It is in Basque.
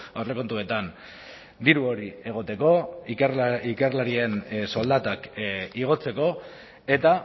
aurrekontuetan diru hori egoteko ikerlarien soldatak igotzeko eta